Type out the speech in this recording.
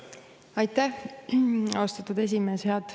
Aitäh, austatud esimees!